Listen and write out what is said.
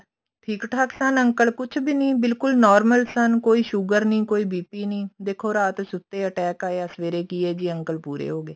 ਠੀਕ ਠਾਕ ਸਨ uncle ਕੁੱਛ ਵੀ ਨੀ ਬਿਲਕੁਲ normal ਸਨ ਕੋਈ ਸੂਗਰ ਨੀ ਕੋਈ BP ਨੀ ਦੇਖੋ ਰਾਤ ਸੁੱਤੇ attack ਆਇਆ ਸਵੇਰੇ ਕਿ ਹੈ ਜੀ uncle pure ਹੋਗੇ